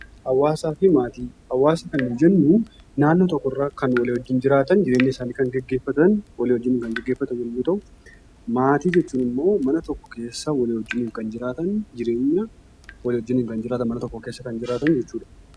Hawaasa kan nuyi jennu naannoo tokkorraa kan wal wajjin jiraatan, jireenya isaanii kan gaggeeffatan, walii wajjin kan gaggeeffatan yommuu ta'u, maatii jechuun ammoo mana tokko keessa walii wajjin kan jiraatan, jireenya wal wajjin kan jiraatan mana tokko keessa kan jiraatan jechuudha.